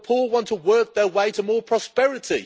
the poor want to work their way to more prosperity.